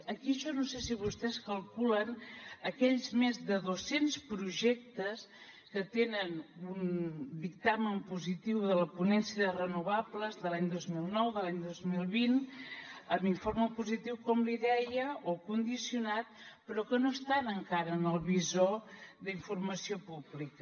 aquí jo no sé si vostès calculen aquells més de dos cents projectes que tenen un dictamen positiu de la ponència de renovables de l’any dos mil nou de l’any dos mil vint amb informe positiu com li deia o condicionat però que no estan encara en el visor d’informació pública